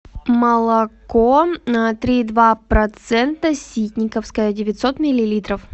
молоко три и два процента ситниковское девятьсот миллилитров